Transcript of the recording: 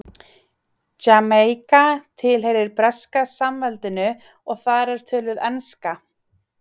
Jamaíka tilheyrir Breska samveldinu og þar er töluð enska.